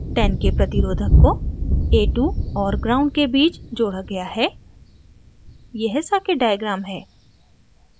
10k प्रतिरोधक को a2 और gnd के बीच जोड़ा गया है यह circuit diagram है